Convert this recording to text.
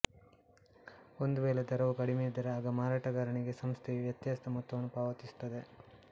ಒಂದು ವೇಳೆ ದರವು ಕಡಿಮೆಯಿದ್ದರೆ ಆಗ ಮಾರಾಟಗಾರನಿಗೆ ಸಂಸ್ಥೆಯು ವ್ಯತ್ಯಾಸದ ಮೊತ್ತವನ್ನು ಪಾವತಿಸುತ್ತದೆ